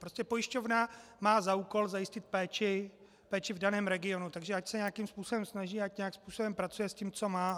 Prostě pojišťovna má za úkol zajistit péči v daném regionu, takže ať se nějakým způsobem snaží, ať nějakým způsobem pracuje s tím, co má.